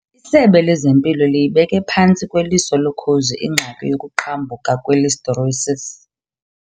ISebe lezeMpilo liyibeke phantsi kweliso lokhozi ingxaki yokuqhambuka kwe-Listeriosis.